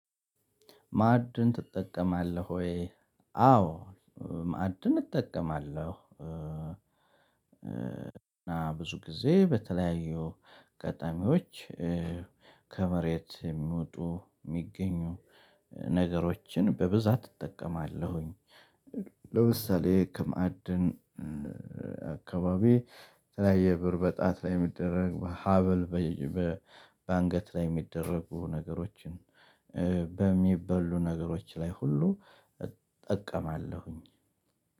ማዕድን ትጠቀማለህ ወይ? አዎ ማዕድን እጠቀማለሁ። እና ብዙ ጊዜ በተለያዩ አጋጣሚዎች ከመሬት የሚወጡ የሚገኙ ነገሮችን በብዛት እጠቀማለሁኝ። ለምሳሌ ከማዕድን አካባቢ የተለያየ ብር በጣት ላይ የሚደረግ ሀብል። በአንገት ላይ የሚደረጉ ነገሮችን በሚበሉ ነገሮች ላይ ሁሉ እጠቀማለሁኝ።